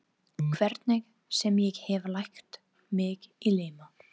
Hvernig sem ég hef lagt mig í líma.